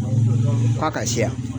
Ko a ka se yan